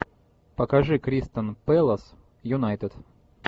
покажи кристал пэлас юнайтед